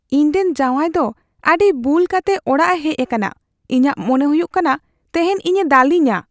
ᱤᱧᱨᱮᱱ ᱡᱟᱶᱟᱭ ᱫᱚ ᱟᱹᱰᱤ ᱵᱩᱞ ᱠᱟᱛᱮ ᱚᱲᱟᱜ ᱮ ᱦᱮᱪ ᱟᱠᱟᱱᱟ ᱾ ᱤᱧᱟᱹᱜ ᱢᱚᱱᱮ ᱦᱩᱭᱩᱜ ᱠᱟᱱᱟ ᱛᱮᱦᱮᱧ ᱤᱧ ᱮ ᱫᱟᱞᱮᱧᱟ ᱾